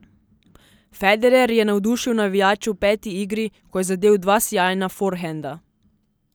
Federer je navdušil navijače v peti igri, ko je zadel dva sijajna forhenda.